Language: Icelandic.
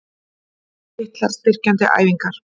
Litlar styrkjandi æfingar?